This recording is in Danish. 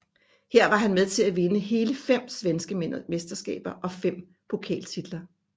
Her var han med til at vinde hele fem svenske mesterskaber og fem pokaltitler